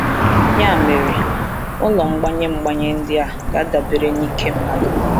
Ya mere, ụlọ mgbanye mgbanye ndị a ga-adabere n’ike mmadụ.